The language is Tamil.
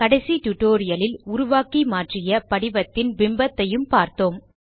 கடைசி டியூட்டோரியல் இல் உருவாக்கி மாற்றிய படிவத்தின் பிம்பத்தையும் பார்த்தோம்